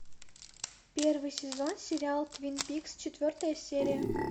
первый сезон сериал твин пикс четвертая серия